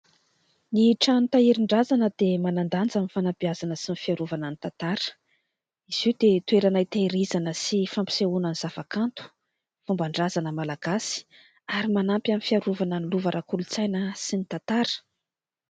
Ny trano tahirin-drazana dia manan-danja amin'ny fanabeazana sy ny fiarovana ny tantara; izy io dia toerana hitehirizana sy fampisehoana ny zava-kanto, fomban-drazana Malagasy ary manampy amin'ny fiarovana ny lova ara -kolontsaina sy ny tantara.